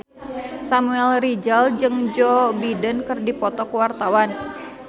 Samuel Rizal jeung Joe Biden keur dipoto ku wartawan